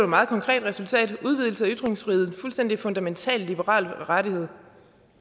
meget konkret resultat udvidelse af ytringsfriheden en fuldstændig fundamental liberal rettighed